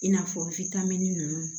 I n'a fɔ ninnu